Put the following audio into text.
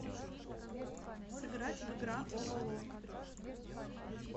сыграть в игра ололо